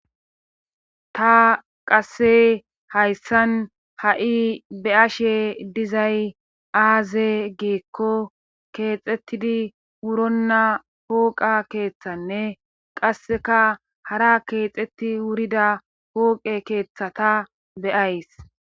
Ta qasse hayssan ha'i be ashe dizay aaze geekko keexettidi wuronna pooqa keeththanne qasseka hara keexetti wurida pooqe keeththata beyays.